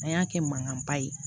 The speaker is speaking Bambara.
An y'a kɛ mankanba ye